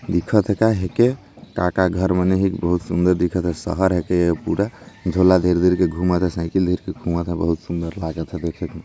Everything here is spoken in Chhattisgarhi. दिखत हे का हे के काका घर मन हे बहुत सुन्दर दिखत हेशहर हे के ये पूरा झोला धर धर के घुमत हे साइकिल धर धर के घुमत हे बहुत सुन्दर लागत हे देखे म --